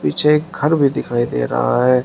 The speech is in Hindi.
पीछे घर भी दिखाई दे रहा है।